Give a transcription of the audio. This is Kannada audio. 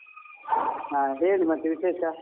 ಹ ಹೇಳಿ ಮತ್ತೆ ವಿಶೇಷ?